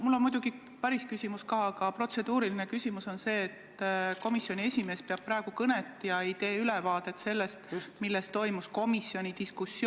Mul on muidugi päris küsimus ka, aga protseduuriline küsimus on see, et komisjoni esimees peab praegu kõnet, mitte ei anna ülevaadet sellest, millest komisjonis diskuteeriti.